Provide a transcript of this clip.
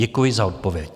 Děkuji za odpověď.